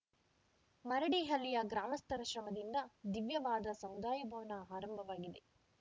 ಮರಡಿಹಳ್ಳಿಯ ಗ್ರಾಮಸ್ಥರ ಶ್ರಮದಿಂದ ದಿವ್ಯವಾದ ಸಮುದಾಯ ಭವನ ಆರಂಭವಾಗಿದೆ